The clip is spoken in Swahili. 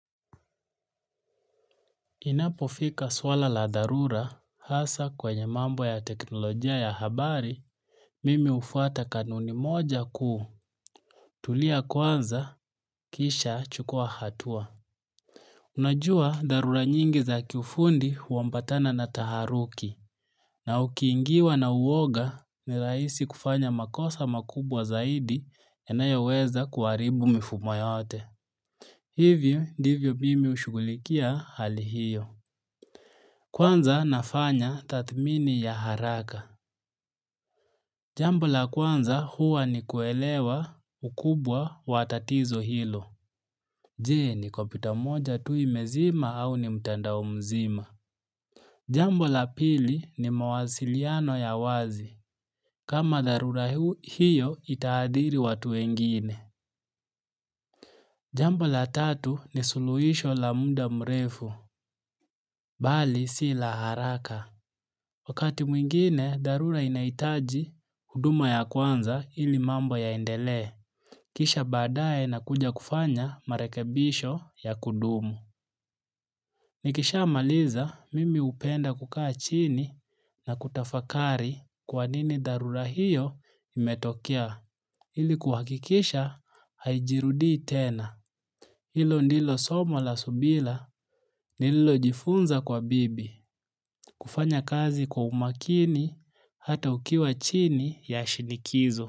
Inapofika swala la dharura hasa kwenye mambo ya teknolojia ya habari, mimi hufuata kanuni moja ku tulia kwanza kisha chukua hatua. Unajua dharura nyingi za kiufundi huambatana na taharuki. Na ukiingiwa na uwoga ni rahisi kufanya makosa makubwa zaidi yanayoweza kuharibu mifumo yote. Hivyo ndivyo mimi hushugulikia hali hiyo. Kwanza nafanya tathmini ya haraka. Jambo la kwanza huwa ni kuelewa ukubwa wa tatizo hilo. Jee ni kompyuta moja tu imezima au ni mtandao mzima. Jambo la pili ni mawasiliano ya wazi. Kama dharura hiyo itahadhiri watu wengine. Jambo la tatu ni suluhisho la muda mrefu. Bali si la haraka. Wakati mwingine, dharura inahitaji huduma ya kwanza ili mambo yaendelee. Kisha baadaye nakuja kufanya marekebisho ya kudumu. Nikishamaliza, mimi hupenda kukaa chini na kutafakari kwa nini dharura hiyo imetokea. Ili kuhakikisha haijirudii tena. Hilo ndilo somo la subila nililojifunza kwa bibi. Kufanya kazi kwa umakini hata ukiwa chini ya shinikizo.